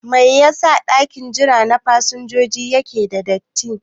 Mai ya sa ɗakin jira na fasinjojin yake da datti?